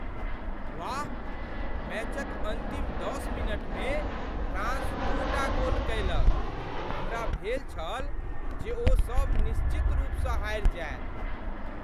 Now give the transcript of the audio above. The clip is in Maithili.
वाह! मैचक अन्तिम दस मिनटमे फ्रांस दूटा गोल कयलक! हमरा भेल छल जे ओ सभ निश्चित रूपसँ हारि जायत।